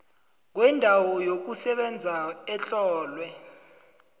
kwendawo yokusebenza etlolwe